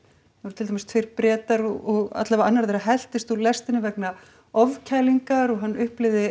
til dæmis tveir Bretar og annar þeirra helltist úr lestinni vegna ofkælingar og hann upplifði